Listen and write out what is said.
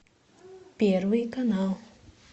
первый канал